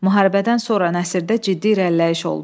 Müharibədən sonra nəsrdə ciddi irəliləyiş oldu.